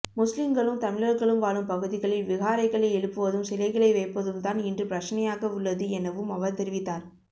முஸ்லிங்களும் தமிழர்களும் வாழும் பகுதிகளில் விஹாரைகளை எழுப்புவதும் சிலைகளை வைப்பதும் தான் இன்று பிரச்சினையாகவுள்ளது எனவும் அவர் தெரிவித்தார்